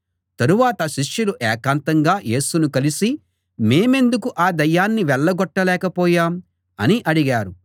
తరువాత శిష్యులు ఏకాంతంగా యేసును కలిసి మేమెందుకు ఆ దయ్యాన్ని వెళ్ళగొట్టలేక పోయాం అని అడిగారు